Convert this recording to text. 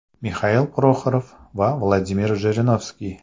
Mixail Proxorov va Vladimir Jirinovskiy.